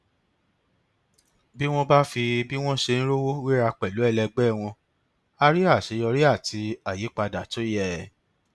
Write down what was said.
bí wọn bá fi bí wọn ṣe ń rówó wéra pẹlú ẹlẹgbẹ wọn á rí àṣeyọrí àti àyípadà tó yẹ